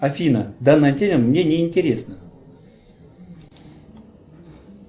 афина данная тема мне не интересна